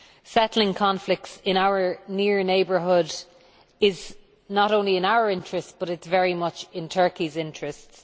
Settling conflicts in our near neighbourhood is not only in our interest, but it is very much in Turkey's interests.